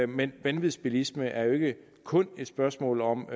men vanvidsbilisme er jo ikke kun et spørgsmål om